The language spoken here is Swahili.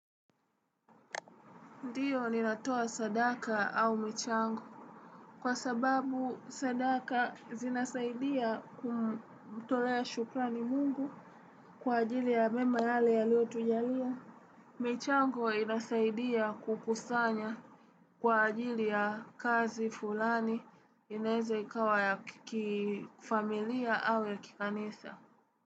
Ndiyo ninatoa sadaka au michango. Kwa sababu sadaka zinasaidia kumtolea shukrani mungu kwa ajili ya mema yale aliyotujalia. Michango inasaidia kukusanya kwa ajili ya kazi fulani inaweza ikawa ya kifamilia au ya kikanisa.